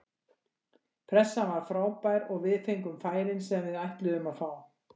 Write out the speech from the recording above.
Pressan var frábær og við fengum færin sem við ætluðum að fá.